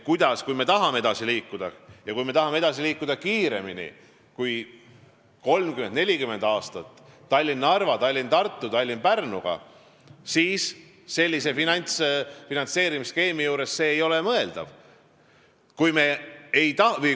Kui me tahame edasi liikuda Tallinna–Narva, Tallinna–Tartu ja Tallinna–Pärnu maanteega ja tahame seda teha kiiremini kui 30 või 40 aastaga, siis sellise finantseerimisskeemiga ei ole see mõeldav.